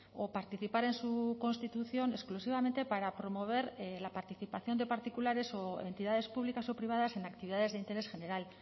o participar en su constitución exclusivamente para promover la participación de particulares o entidades públicas o privadas en actividades de interés general